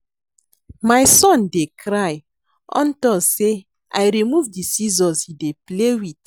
My son dey cry unto say I remove the scissors he dey play with